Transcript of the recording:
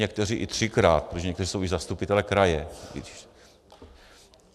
Někteří i třikrát, protože někteří jsou i zastupitelé kraje.